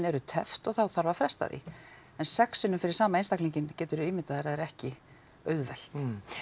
eru teppt og þá þarf að fresta en sex sinnum fyrir sama einstaklinginn geturðu ímyndað þér að er ekki auðvelt